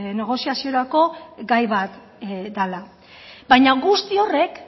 negoziaziorako gai bat dela baina guzti horrek